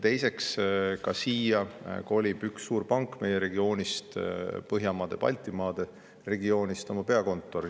Teiseks, üks suurpank meie regioonist, Põhjamaade ja Baltimaade regioonist, kolib siia oma peakontori.